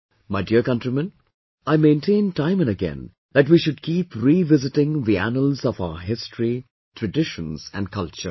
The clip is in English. My dear countrymen, I maintain time & again that we should keep re visiting the annals of our history, traditions and culture